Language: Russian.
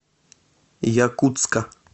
якутска